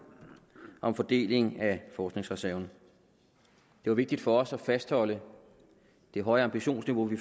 om fordeling af forskningsreserven det var vigtigt for os at fastholde det høje ambitionsniveau vi